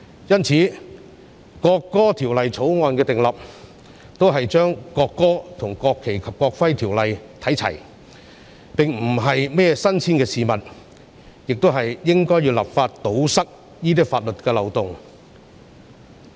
因此，訂立《條例草案》只是與《國旗及國徽條例》看齊，並非甚麼新鮮事，而我們亦應立法堵塞法律漏洞。